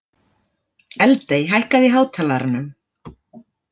Eldey, hækkaðu í hátalaranum.